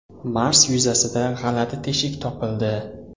Mars yuzasida g‘alati teshik topildi.